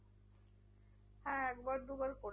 হ্যাঁ একবার দুবার করেছি।